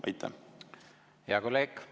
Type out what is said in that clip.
Hea kolleeg!